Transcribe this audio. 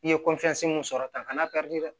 I ye mun sɔrɔ tan kana